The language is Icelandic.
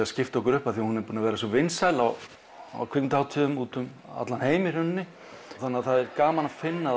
að skipta okkur upp af því að hún er búin að vera svo vinsæl á á kvikmyndahátíðum úti um allan heim í rauninni þannig að það er gaman að finna